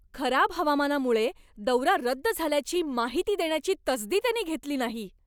खराब हवामानामुळे दौरा रद्द झाल्याची माहिती देण्याची तसदी त्यांनी घेतली नाही.